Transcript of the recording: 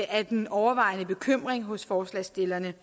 er den overvejende bekymring hos forslagsstillerne